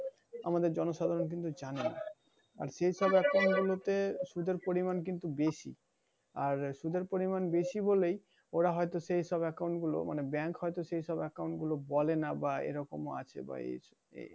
আমাদের জনসাধারণ কিছু জানে, আর সেই হিসেবে account গুলোতে সুদের পরিমান কিন্তু বেশি। আর সুদের পরিমান বেশি বলেই ওরা হয়তো সেই সব account গুলো মানে bank হয়তো সেই সব account গুলো বা এরকম ও আছে। বা এই